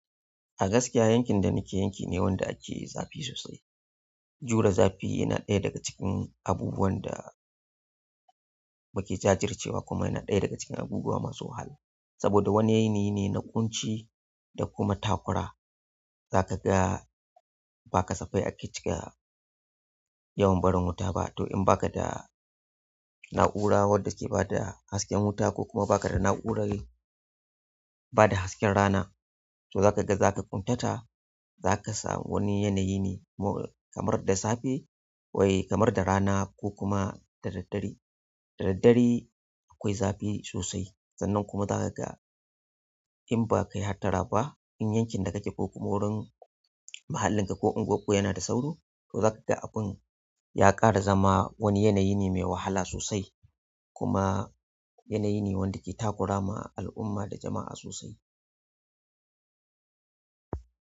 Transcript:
A gaskiya yankin da nake yankin ne wanda ake zafi sosai. Jure zafi yana ɗaya daga cikin abubuwan da muke jajircewa kuma yana ɗaya daga cikin abubuwa masu wahala. Saboda wani yanayi ne na ƙunci da kuma takura. Zaka ga ba ka safai ake cika yawan barin wuta ba. To in baka da na'ura wadda ke bada hasken wuta ko baka da urar ba da hasken rana, to za ka ga za ka ƙuntata. Za ka samu wani yanayi ne kamar da safe wai kamar da rana ko kuma da daddare. Da daddare akwai zafi sosai sannan kuma za ka ga in ba ka yi hattara ba, in yankin da kake ko kuma wurin mahallinka ko unguwanku yana da sauro, to za ka ga abun ya ƙara zama wani yanayi ne mai wahala sosai kuma yanayi ne wanda ke takura ma al'umma da jama'a sosai.